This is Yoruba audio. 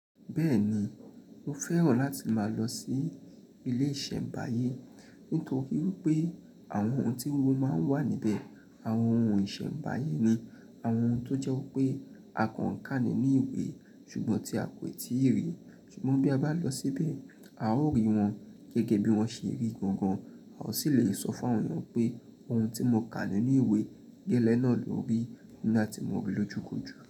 Bẹ́ẹ̀ni, mo fẹ́ràn láti máa lọ sí ilé ìṣẹ̀mbáyé, nítorí wípé àwọn ohun tí o máa ń wà níbẹ̀, àwọn ohun ìṣẹ̀mbáyé ni àwọn ohun tó jẹ́ wípé a kàn án ká ní inú ìwé ṣùgbọ́n tí a kò tíì rí, ṣùgbọ́n bí a bá lọ síbẹ̀, a ó rí wọn gẹ́gẹ́ bí wọ́n ṣe rí gangan, a ó sì le sọ fún àwọn ènìyàn pé ohun tí mo kà ní inú ìwé gẹ́lẹ́ náà ló rí nígbà tí mo rí i lójúkoju.